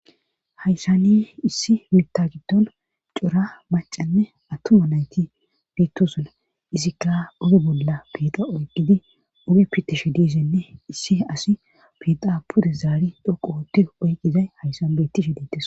haysani issi miitta giddon cora macanne attuma nayti bittosola izikka oge bolla piiqa oyqqidi omi pitishi disenne issi asi piixa pude zaari dhoqoote oyqizay hayssan bettishe detes